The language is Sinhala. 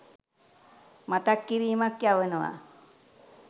මතක් කිරීමක් යවනවා.